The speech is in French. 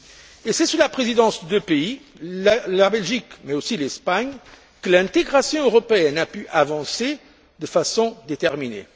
Et c'est sous la Présidence de deux pays, la Belgique mais aussi l'Espagne, que l'intégration européenne a pu avancer de façon déterminée.